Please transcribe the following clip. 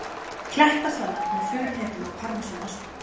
Klettasalat með furuhnetum og parmesanosti